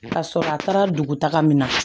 Ka sɔrɔ a taara dugutaga min na